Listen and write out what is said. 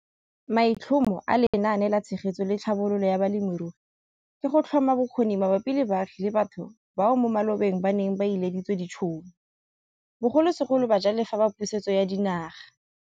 Maitlhomo a Lenaane la Tshegetso le Tlhabololo ya Balemirui ke go tlhoma bokgoni mabapi le baagi le batho bao mo malobeng ba neng ba ileditswe ditšhono, bogolosegolo bajalefa ba Pusetso ya Dinaga.